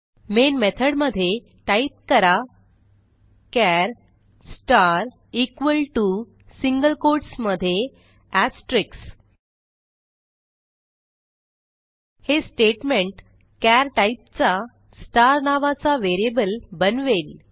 main method मध्ये type करा char star equal to single quotes मध्ये एस्टेरिक्स हे स्टेटमेंट चार टाईपचा स्टार नावाचा व्हेरिएबल बनवेल